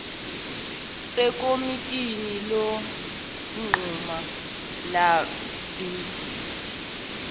ekomitini lokunquma lebhidi